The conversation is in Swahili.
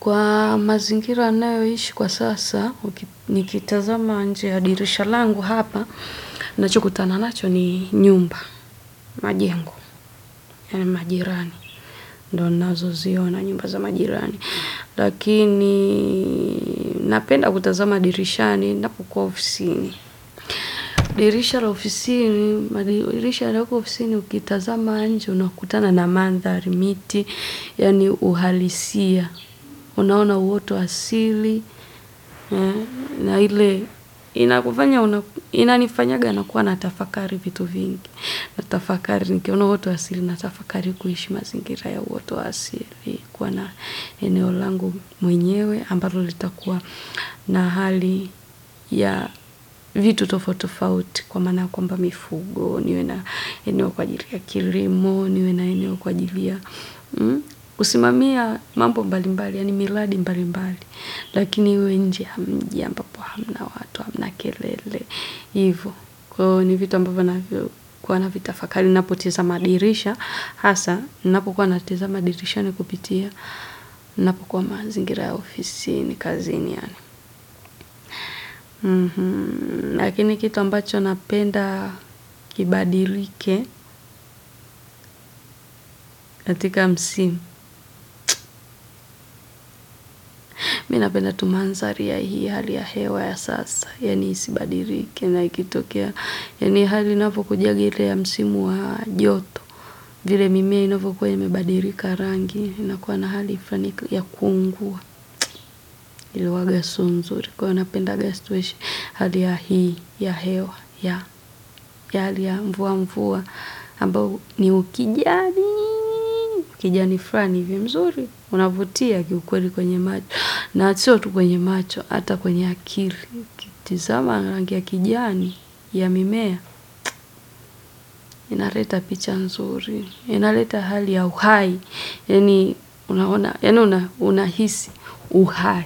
Kwa mazingira nayo ishi kwa sasa, uki nikitazama nje ya dirisha langu hapa, nachokutana nacho ni nyumba, majengu, ya majirani. Ndo nnazo zio na nyumba za majirani. Lakiniii, napenda kutazama dirisha ni napukua ofisini. Dirisha la ofisini, madirisha lako ofisini, ukitazama anji, unakutana na mandharimiti, ya ni uhalisia, unaona uotu asili, na ile inakufanya una inanifanyanga nakuwa na tafakari vitu vingi, natafakari nikiona uoto asili, natafakari kuishi mazingira ya uoto asili, kuwa na eneo langu mwenyewe, ambalo litakuwa na hali. Ya vitu tofauti tofauti, kwa maana kwamba mifugo, niwe na eneo kwa ajili ya kilimo, niwe na eneo kwa ajili ya usimamizi wa mambo mbalimbali, yaani miradi mbalimbali. Dirisha la ofisini, madirisha lako ofisini, ukitazama anji, unakutana na mandharimiti, ya ni uhalisia, unaona uotu asili, na ile inakufanya una ivo, ni vitu ambavyo huwa navitafakari. Ninapotazama dirisha. Hasa, ninapokuwa natazamani dirishani kupitia. Ninapokuwa mazingira ya ofisini kazini. Lakini kitu ambacho napenda kibadilike. Katika msimu, mimi napenda tu mandhari ya hii hali ya hewa ya sasa. Yaani isibadilike na ikitokea. Yaani hali inapokuja ile ya msimu wa joto, vile mimea inavyokuwa imebadilika rangi, inakuwa na hali fulani ya kuungua, inakuwanga siyo mzuri. Huwa napenda situation hali ya hii ya hewa ya hali ya mvua mvua ambao ni ukijani. Ukijani fulani hii mzuri unafutia kiukweli kwenye macho. Na sio tu kwenye macho ata kwenye akili. Tizama rangi ya kijani ya mimea inaleta picha nzuri, inaleta hali ya uhai. Yaani unahisi uhai.